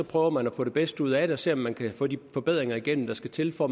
prøver man at få det bedste ud af det og ser om man kan få de forbedringer igennem der skal til for